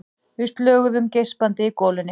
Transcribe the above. Við slöguðum geispandi í golunni.